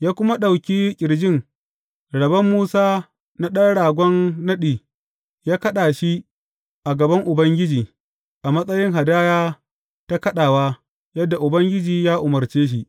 Ya kuma ɗauki ƙirjin; rabon Musa na ɗan ragon naɗi, ya kaɗa shi a gaban Ubangiji, a matsayin hadaya ta kaɗawa, yadda Ubangiji ya umarce shi.